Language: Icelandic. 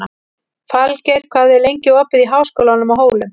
Falgeir, hvað er lengi opið í Háskólanum á Hólum?